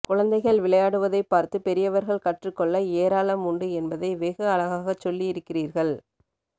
குழந்தைகள் விளையாடுவதைப் பார்த்துப் பெரியவர்கள் கற்றுக் கொள்ள ஏராளம் உண்டு என்பதை வெகு அழகாகச் சொல்லி இருக்கிறீர்கள்